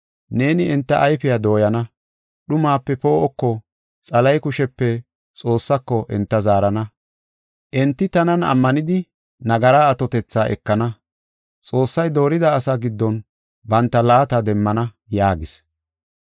Neeni enta ayfiya dooyana, dhumape poo7oko, Xalahe kushepe Xoossako enta zaarana. Enti tanan ammanidi nagara atotetha ekana. Xoossay doorida asaa giddon banta laata demmana’ yaagis.